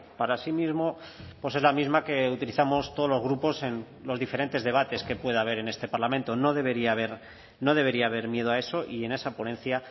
para sí mismo pues es la misma que utilizamos todos los grupos en los diferentes debates que pueda haber en este parlamento no debería haber no debería haber miedo a eso y en esa ponencia